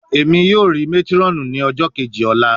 Emi yoo ri matron ni ọjọ keji ọla